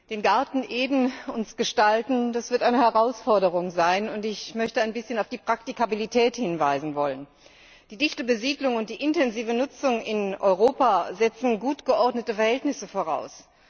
Den Garten Eden uns gestalten das wird eine Herausforderung sein. Ich möchte ein bisschen auf die Praktikabilität hinweisen. Die dichte Besiedelung und die intensive Nutzung in Europa setzen gut geordnete Verhältnisse voraus.